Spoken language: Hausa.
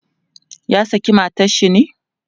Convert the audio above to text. ya saki matan shi ne?